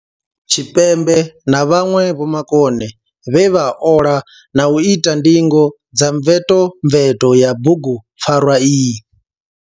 Tshipembe na vhanwe vhomakone vhe vha ola na u ita ndingo dza mvetomveto ya bugupfarwa iyi.